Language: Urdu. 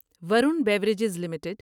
Varun beverages limited